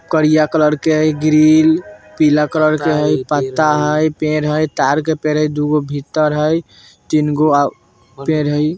करिया कलर के हई ग्रिल पिला कलर के हई पत्ता हई पेड़ हई हई। ताड़ के पेड़ हई दुगो भीतर हई। तीन गो और पेड़ हई ।